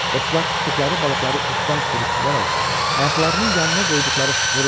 Dostlar tutduqları balıqları ipdən sürüşdürərək ayaqlarının yanına qoydular.